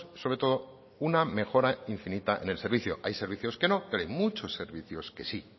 sobre todo una mejora infinita en el servicio hay servicios que no pero hay muchos servicios que sí